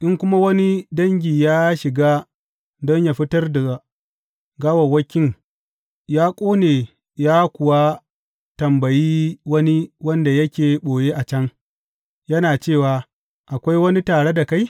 In kuma wani dangi ya shiga don yă fitar da gawawwakin yă ƙone ya kuwa tambayi wani wanda yake ɓoye a can, yana cewa, Akwai wani tare da kai?